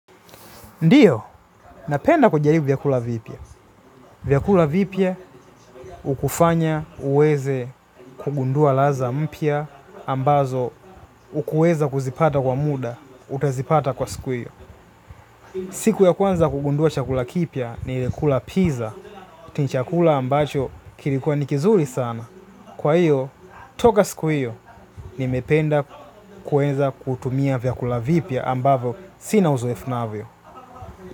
Ndio, napenda kujaribu vyakula vipya. Vyakula vipya hukufanya uweze kugundua ladha mpya ambazo hukuweza kuzipata kwa muda, utazipata kwa siku hiyo. Siku ya kwanza kugundua chakula kipya nilikula pizza, ni chakula ambacho kilikuwa ni kizuri sana. Kwa hiyo, toka siku hiyo, nimependa kueza kutumia vyakula vipuya ambavyo sina uzoefubnavyo.